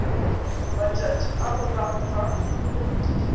matšatši a morago ga go